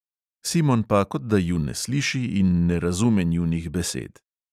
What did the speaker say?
Simon pa kot da ju ne sliši in ne razume njunih besed.